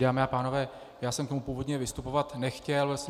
Dámy a pánové, já jsem k tomu původně vystupovat nechtěl.